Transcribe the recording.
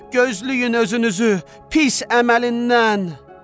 Gözləyin özünüzü pis əməlindən!